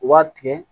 U b'a tigɛ